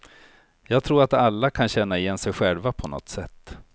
Jag tror att alla kan känna igen sig själva på något sätt.